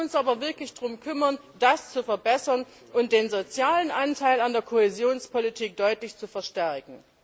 Wir müssen uns aber wirklich darum kümmern, das zu verbessern und den sozialen Anteil an der Kohäsionspolitik deutlich zu verstärken.